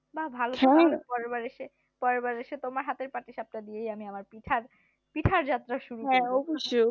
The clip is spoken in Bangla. বা ভালো তো তাহলে পরেরবার এসে তোমার হাতেই পাটি-সাপটা দিয়েই আমি আমার পিঠা যাত্রা শুরু করব